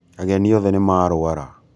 Ageni othe nīmarwara.